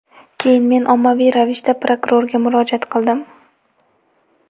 Keyin men ommaviy ravishda prokurorga murojaat qildim.